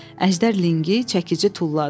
Əjdər linqi çəkici tulladı.